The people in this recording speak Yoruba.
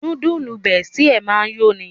Núdúùsù Bestie máa ń yó'ni